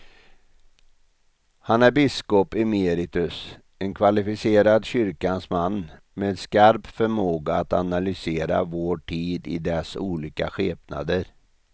Han är biskop emeritus, en kvalificerad kyrkans man med skarp förmåga att analysera vår tid i dess olika skepnader.